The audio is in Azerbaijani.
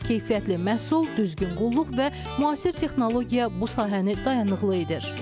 Keyfiyyətli məhsul, düzgün qulluq və müasir texnologiya bu sahəni dayanıqlı edir.